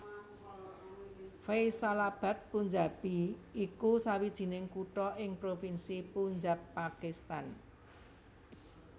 Faisalabad Punjabi iku sawijining kutha ing provinsi Punjab Pakistan